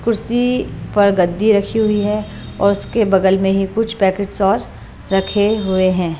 कुर्सी पर गद्दी रखी हुई है और उसके बगल में ही कुछ पैकेट्स और रखे हुए हैं।